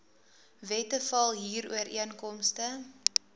wette val huurooreenkomste